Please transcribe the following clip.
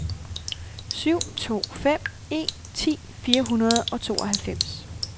syv to fem en ti fire hundrede og tooghalvfems